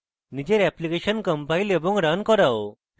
নিজের application compile এবং run করাও